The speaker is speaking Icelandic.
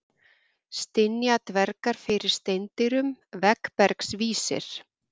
Stynja dvergar fyrir steindyrum, veggbergs vísir.